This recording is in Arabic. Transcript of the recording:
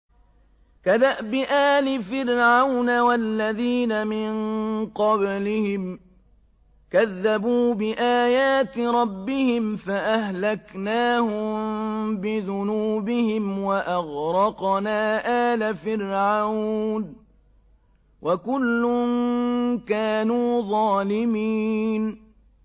كَدَأْبِ آلِ فِرْعَوْنَ ۙ وَالَّذِينَ مِن قَبْلِهِمْ ۚ كَذَّبُوا بِآيَاتِ رَبِّهِمْ فَأَهْلَكْنَاهُم بِذُنُوبِهِمْ وَأَغْرَقْنَا آلَ فِرْعَوْنَ ۚ وَكُلٌّ كَانُوا ظَالِمِينَ